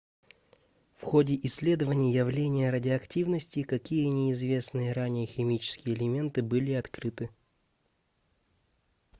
в ходе исследования явления радиоактивности какие неизвестные ранее химические элементы были открыты